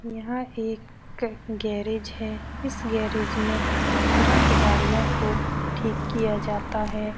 यह एक ग़ गैरेज है। इस गैरज में खराब गाड़ियों को ठीक किया जाता है।